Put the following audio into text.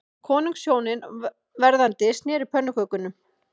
Konungshjónin verðandi sneru pönnukökum